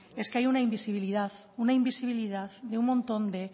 es que hay un invisibilidad una invisibilidad de un montón de